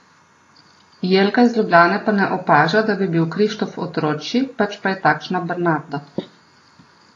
Jelka iz Ljubljane pa ne opaža, da bi bil Krištof otročji, pač pa je takšna Bernarda.